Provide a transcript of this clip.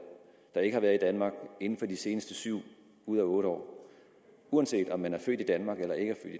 der ikke har været i danmark inden for de seneste syv ud af otte år uanset om de er født i danmark eller ikke